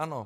Ano.